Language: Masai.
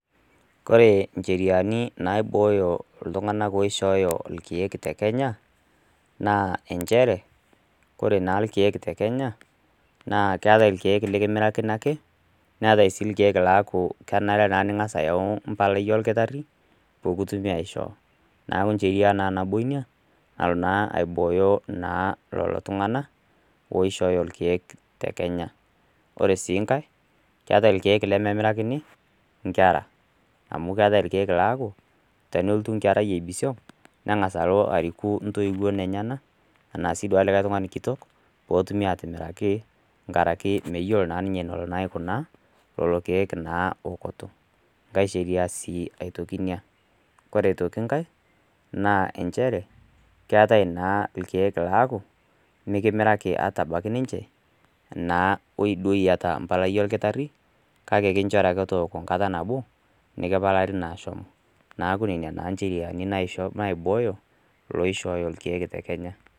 Ore incheriani naibooyo iltung'ana oishooyo ilkeek te Kenya, naa nchere, ore naa ilkeek te Kenya, naa keatai ilkeek lekimirrakini ake, neatai naa ilkeek naa kenare ake niyau empalai oldakitaeri pee kiwuoi aisho. Neaku naa encheria naa nabo ina, nalo nmaa aibooyo naa lelo tung'ana oishooyo ilkeek te Kenya. Ore sii enkai, keatai ilkeek lemeemirakini inkera, amu keatai ilkeek naa keaku, tenelotu enkerai eibisiong', neng'as alo ariku inttoiwuo enyena, anaa sii duo olikai tung'ani kitok, pee etumi aatimiraki, enkaraki meyiolo naa ninye eneiko naa ninye aikunaa lelo keek naa eokoto, enkai sheria sii aitoki ina. Ore aitoki enkai naa nchere, ore aitoki enkai naa nchere, keatai naa ilkeek laaku, mekimiraki ata abaiki ninche anaa woi duo iata empalai oldakitari, kake kinchori ake tooko enkata nabo, nekipalaari naa shomo. Neaku nena naa incheriani naisho naibooyo iloishooyo ilkeek te Kenya.